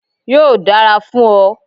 Yóò dára fún ọ.